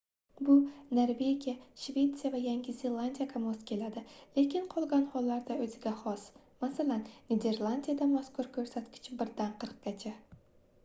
bu norvegiya shvetsiya va yangi zelandiyaga mos keladi lekin qolgan hollarda o'ziga xos masalan niderlandiyada mazkur ko'rsatkich birdan qirqqacha